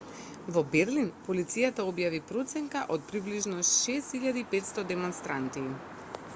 во берлин полицијата објави проценка од приближно 6.500 демонстранти